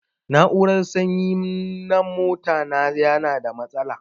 Na'urar sanyi na mota na yana da matsala.